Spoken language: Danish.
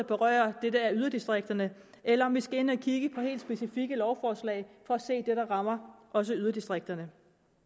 berører det der er i yderdistrikterne eller om vi skal ind at kigge på helt specifikke lovforslag for at se hvad der rammer også i yderdistrikterne